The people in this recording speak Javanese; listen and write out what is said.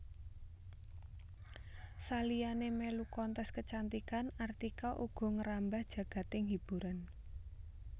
Saliyané mèlu kontes kecantikan Artika uga ngrambah jagading hiburan